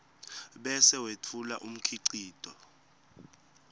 bese wetfula umkhicito